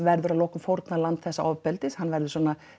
verður að lokum fórnarlamb þessa ofbeldis verður